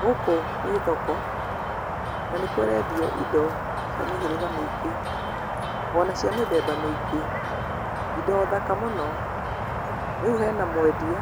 Gũkũ nĩ thoko na nĩ kũrendio indo cia mĩhĩrĩga mĩingĩ ona cia mĩthemba mĩingĩ, indo thaka mũno. Rĩu hena mwendia